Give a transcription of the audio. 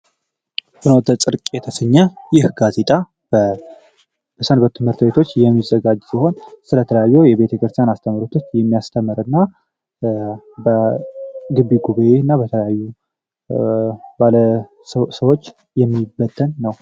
ፍኖተ ጽርቅ የተሰኘ ይህ ጋዜጣ በሰንበት ትምህርተቤቶች የሚዘጋጅ ሲሆን ስለ ተለያየ የቤተ ክርስታን አስተመርቶች የሚያስተመር እና በግቢ ጉብይ እና በተለያዩ ባለሰዎች የሚበተን ነው።